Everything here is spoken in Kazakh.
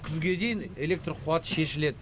күзге дейін электр қуаты шешіледі